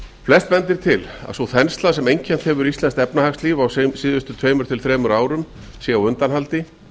flest bendir til að sú þensla sem einkennt hefur íslenskt efnahagslíf á síðustu tveimur til þremur árum sé á undanhaldi